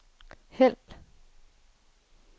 hæld